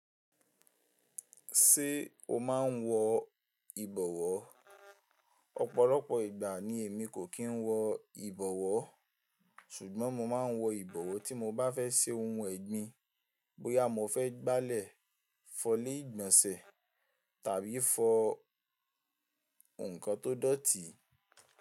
Ṣé o máa ń wọ ìbọwọ́? Ọ̀pọ̀lọpọ̀ ìgbà ni èmi kò kí ń wọ ìbọwọ́, ṣùgbọ́n mo máa ń wọ ìbọwọ́ tí mo bá fẹ́ ṣe ohun ẹ̀gbin, bóyá mo fẹ́ gbálẹ̀ fọlé ìgbọ̀nsẹ̀ tàbí fọ nǹkan tó dọ̀tí.